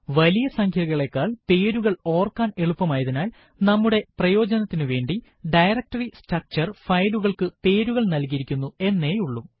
വലിയ സംഖ്യകളെക്കാൾ പേരുകൾ ഓർക്കാൻ എളുപ്പമായതിനാൽ നമ്മുടെ പ്രയോജനത്തിനു വേണ്ടി ഡയറക്ടറി സ്ട്രക്ചർ ഫയലുകൾക്ക് പേരുകൾ നല്കിയിരിക്കുന്നു എന്നേയുള്ളൂ